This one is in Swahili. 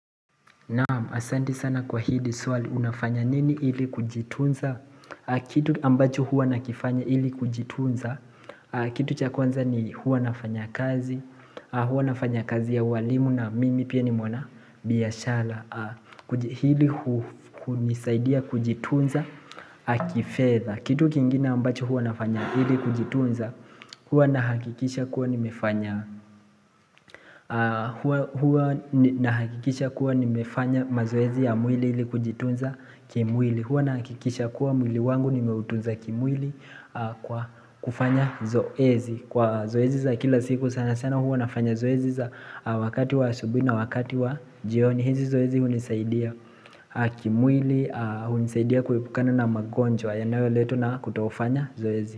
Naam asante sana kwa hili swali unafanya nini ili kujitunza Kitu ambacho huwa nakifanya ili kujitunza Kitu chakwanza ni huwa nafanya kazi Huwa nafanya kazi ya uwalimu na mimi pia ni mwana biashara Hili hunisaidia kujitunza kifedha Kitu kingine ambacho huwa nafanya ili kujitunza Huwa ninahakikisha kuwa nimefanya mazoezi ya mwili ili kujitunza kimwili Huwa nina hakikisha kuwa mwili wangu nimeutunza kimwili kufanya zoezi Kwa zoezi za kila siku sana sana huwa nafanya zoezi za wakati wa asubuhi na wakati wa jioni hizi zoezi hunisaidia kimwili, hunisaidia kuepukana na magonjwa yanayoletwa na kutofanya zoezi.